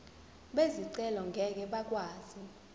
bezicelo ngeke bakwazi